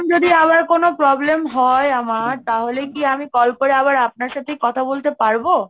যদি আবার কোন problem হয় আমার, তাহলে কি আমি কল করে আবার আপনার সাথেই কথা বলতে পারবো?